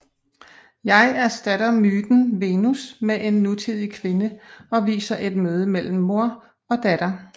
Jeg erstatter myten Venus med en nutidig kvinde og viser et møde mellem mor og datter